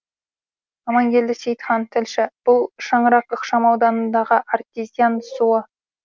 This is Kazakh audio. аманкелді сейітхан тілші бұл шаңырақ ықшам ауданындағы артезиан суы